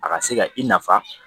A ka se ka i nafa